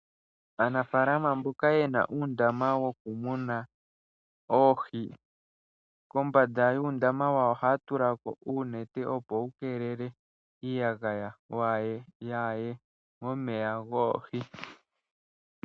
Aanafaalama mboka yena uundama wokumuna oohi, kombanda yuundama wawo ohaya tulako uunete opo wukeelele iiyagaya, yaaye momeya goohi.